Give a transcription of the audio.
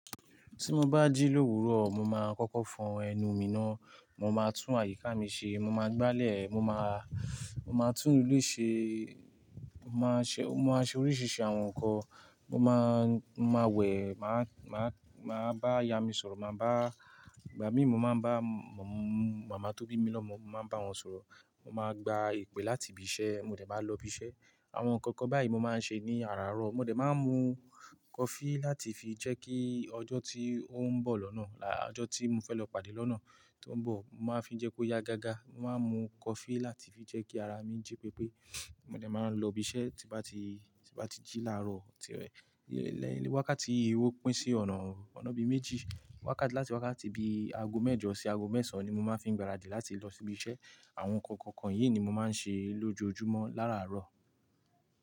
Tí mo bá jí l'òwúrò, mo máa kọ́kọ́ fọ ẹnu mi ná. Mo máa tún àyíká mi ṣe, mo máa gbálẹ̀, mo máa, mo máa tún ilé ṣe, mo máa ṣe, mo máa ṣe oríṣiríṣi àwọn ǹkan. Mo máa, mo máa wẹ̀, màá, màá, màá bá ìyá mi sọ̀rọ̀, màá bá, ìgbà mí mo máa ń bá màmá tó bí mi lọ́mọ, mo máa ń bá wọn sọ̀rọ̀. Mo máa gba ìpè láti ibi iṣẹ́, mo dẹ̀ máa lọ ibi iṣẹ́. Àwọn ǹkan kan báyìí mo máa ń ṣe ní àràárọ̀. Mo dẹ̀ máa ń mu coffee láti fi jẹ́ kí ọjọ́ tí ó ń bọ̀ lọ́nà, lá, ọjọ́ tí mo fẹ́ lọ pàdé lọ́nà tí ó ń bọ̀, mo máa fi ń jẹ́ kó yá gágá. Mo máa ń mu coffee láti fi jẹ́ kí ara mi jí pépé. Mo dẹ̀ máa ń lọ ibi iṣẹ́ tí bá ti, tí bá ti jí làárọ̀. Tí rẹ̀, lẹ́yìn wákàtí, ó pín sí ọ̀nà, ọ̀nà bíi méjì, wákàtí láti wákàtí bíi aago mẹ́jọ sí aago mẹ́sàn-án ni mo máa ń fi ń gbáradì láti lọ síbi iṣẹ́. Àwọn ǹkan kan yìí ni mo máa ń ṣe lójoojúmọ́ láràárọ̀